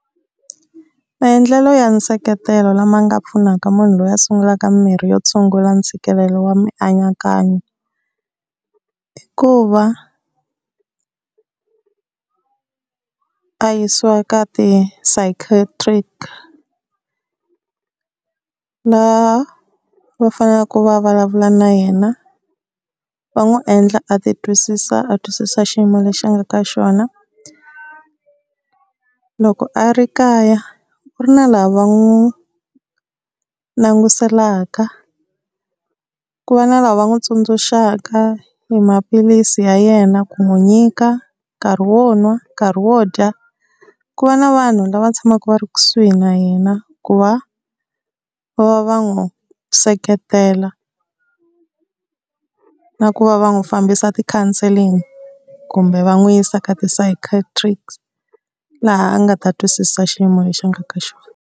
Maendlelo ya nseketelo lama nga pfunaka munhu loyi a sungulaka mimirhi yo tshungula ntshikelelo wa mianakanyo, i ku va a yisiwa ka psychiatrist la va fanelaka va vulavula na yena va n'wi endla a ti twisisa a twisisa xiyimo lexi a nga ka xona. Loko a ri kaya ku ri na lava va n'wi languselaka ku va na lava va n'wi tsundzuxaka hi maphilisi ya yena ku n'wi nyika, nkarhi wo nwa, nkarhi wo dya. Ku va na vanhu lava tshamaka va ri kusuhi na yena ku va va va va n'wi seketela na ku va va n'wi fambisa ti-counselling kumbe va n'wi yisa ka ti-psychiatrist laha a nga ta twisisa xiyimo lexi a nga ka xona.